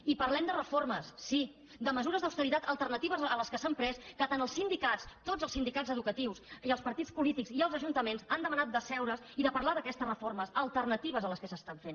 i parlem de reformes sí de mesures d’austeritat alternatives a les que s’han pres que tant els sindicats tots els sindicats educatius i els partits polítics i els ajuntaments han demanat d’asseure’s i de parlar d’aquestes reformes alternatives a les que s’estan fent